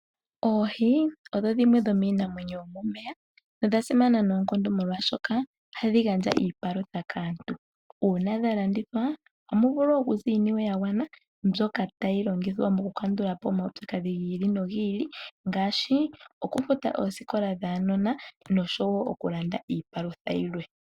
Oohi odho dhimwe dhomiinamwenyo yomomeya nodha simana noonkondo molwashoka ohadhi gandja iipalutha kaantu. Uuna dha landithwa ohamu vulu okuza iiniwe yagwana mbyoka tayi longithwa mokukandula po omaupyakadhi gi ili nogi ili ngaashoi okufuta oosikola dhaanona nokulanda iipalutha yilwe.